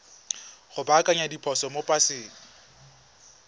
go baakanya diphoso mo paseng